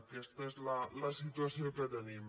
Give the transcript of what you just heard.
aquesta és la situació que tenim